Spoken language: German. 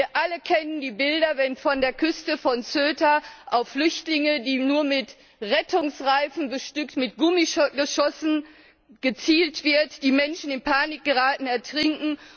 Wir alle kennen die Bilder, wenn von der Küste vor Ceuta auf Flüchtlinge, die nur mit Rettungsreifen bestückt sind, Gummigeschossen abgefeuert werden, die Menschen in Panik geraten und ertrinken.